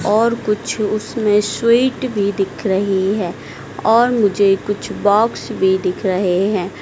और कुछ उसमें स्वीट भी दिख रही है और मुझे कुछ बॉक्स भी दिख रहे हैं।